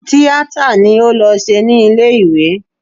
Tíátà ni ó lọ ṣe ní ilé ìwé